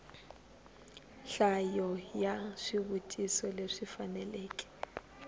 nhlayo ya swivutiso leswi faneleke